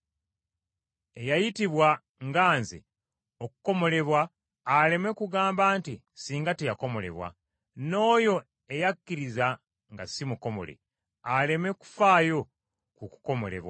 Eyayitibwa ng’amaze okukomolebwa aleme kugamba nti ssinga teyakomolebwa, n’oyo eyakkiriza nga si mukomole aleme kufaayo ku kukomolebwa.